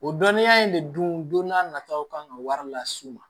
O dɔnniya in de dun don n'a nataw kan ka wari las'u ma